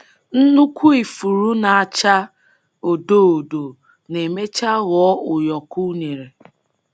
Nnukwu ifuru na-acha odo odo na-emecha ghọọ ụyọkọ unere.